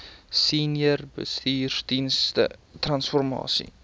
senior bestuursdienste transformasie